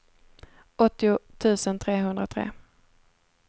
åttio tusen trehundratre